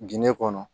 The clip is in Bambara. Ginde kɔnɔ